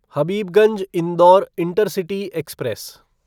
Habibganj Indore intercity express